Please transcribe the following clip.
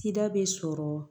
Tida bɛ sɔrɔ